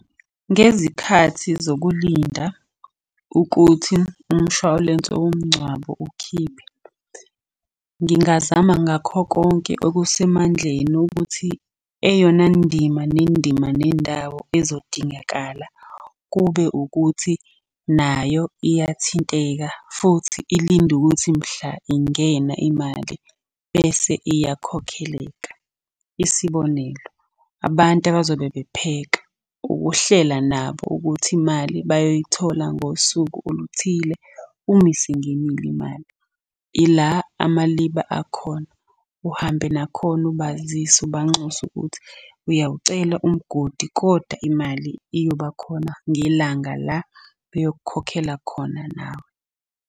Ngezikhathi zokulinda ukuthi umshwalense womngcwabo ukhiphe, ngingazama ngakho konke okusemandleni ukuthi eyona ndima nendima nendawo ezodingakala, kube ukuthi nayo iyathinteka, futhi ilinde ukuthi mhla ingena imali bese iyakhokheleka. Isibonelo, abantu abazobe bepheka, ukuhlela nabo ukuthi imali bayoyithola ngosuku oluthile umise ingenile imali. Ila amaliba akhona, uhambe nakhona ubazise. ubanxusa ukuthi ayawucela umgodi kodwa imali iyobakhona ngelanga la beyokukhokhela khona nawe.